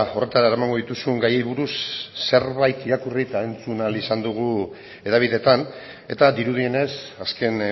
horretara eramango dituzun gaiei buruz zerbait irakurri eta entzun ahal izan dugu hedabideetan eta dirudienez azken